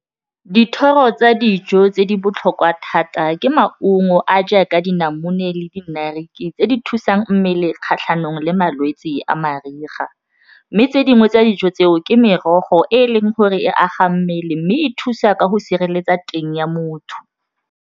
Dithoro tsa dijo tse di botlhokwa thata ke maungo a jaaka dinamune le di narkie tse di thusang mmele kgatlhanong le malwetsi a mariga mme tse dingwe tsa dijo tseo ke merogo e e leng gore e aga mmele mme e thusa ka go sireletsa teng ya motho.